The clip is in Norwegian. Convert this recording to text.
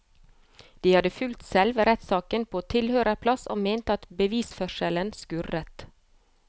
De hadde fulgt selve rettssaken på tilhørerplass og mente at bevisførselen skurret.